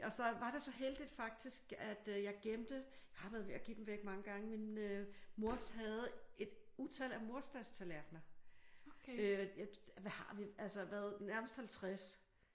Og så var det så heldigt faktisk at jeg gemte jeg har været ved at give dem væk mange gange men mors havde et utal af mors dags tallerkener hvad har vi? Nærmest 50